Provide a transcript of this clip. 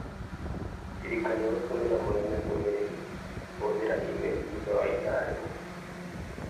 Ndirikania gũtũmĩra mũnene ndũmĩrĩri kũhũthĩra e-mail thutha wa ithaa rĩmwe.